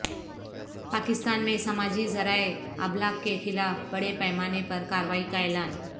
پاکستان میں سماجی ذرائع ابلاغ کے خلاف بڑے پیمانے پر کارروائی کا اعلان